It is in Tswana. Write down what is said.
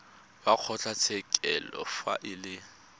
wa kgotlatshekelo fa e le